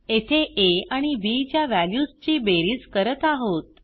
येथे आ आणि बी च्या व्हॅल्यूजची बेरीज करत आहोत